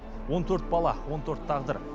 он төрт бала он төрт тағдыр